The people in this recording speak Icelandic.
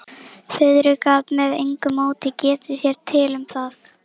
Friðrik gat með engu móti getið sér til um það.